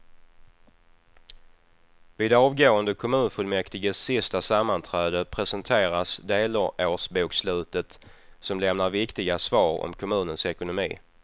Vid avgående kommunfullmäktiges sista sammanträde presenteras delårsbokslutet som lämnar viktiga svar om kommunens ekonomi.